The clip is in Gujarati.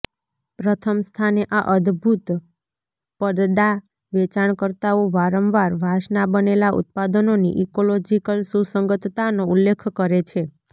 પ્રથમ સ્થાને આ અદભૂત પડદાના વેચાણકર્તાઓ વારંવાર વાંસના બનેલા ઉત્પાદનોની ઇકોલોજીકલ સુસંગતતાનો ઉલ્લેખ કરે છે